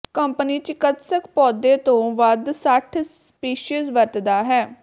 company ਚਿਕਿਤਸਕ ਪੌਦੇ ਦੇ ਵੱਧ ਸੱਠ ਸਪੀਸੀਜ਼ ਵਰਤਦਾ ਹੈ